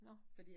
Nåh